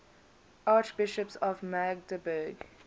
archbishops of magdeburg